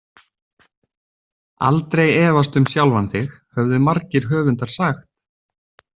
Aldrei efast um sjálfan þig, höfðu margir höfundar sagt.